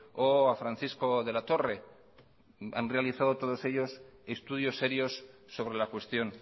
o a francisco de la torre han realizado todos ellos estudios serios sobre la cuestión